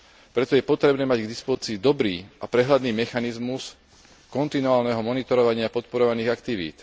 Preto je potrebné mať k dispozícii dobrý a prehľadný mechanizmus kontinuálneho monitorovania podporovaných aktivít.